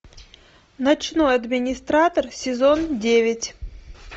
ночной администратор сезон девять